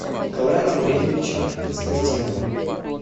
николаем андреевичем константиновым